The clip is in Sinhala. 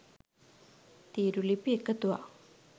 තීරුලිපි එකතුවක්